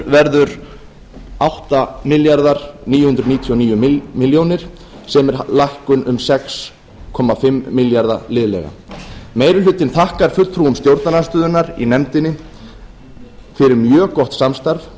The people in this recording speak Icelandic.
verður um átta þúsund níu hundruð níutíu og níu komma tvö ár sem er lækkun um sex þúsund fimm hundruð og fimm komma sex ár meiri hlutinn þakkar fulltrúum stjórnarandstöðunnar í nefndinni fyrir mjög gott samstarf þá